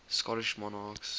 scottish monarchs